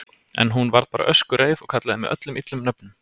En hún. varð bara öskureið og kallaði mig öllum illum nöfnum.